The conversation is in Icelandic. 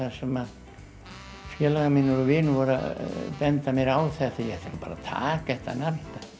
sem að félagar mínar og vinir voru að benda mér á þetta að ég ætti bara að taka þetta nafn